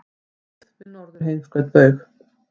Byggð við Norðurheimskautsbaug.